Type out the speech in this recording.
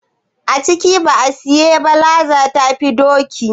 A ci ba a siye ba, laza ta fi doki.